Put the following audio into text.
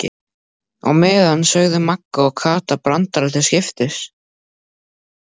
Á meðan sögðu Magga og Kata brandara til skiptis.